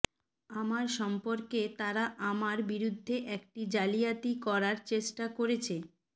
আমার সম্পর্কে তারা আমার বিরুদ্ধে একটি জালিয়াতি করার চেষ্টা করেছে